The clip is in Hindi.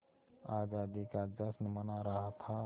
आज़ादी का जश्न मना रहा था